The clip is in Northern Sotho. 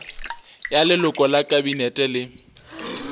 ya leloko la kabinete le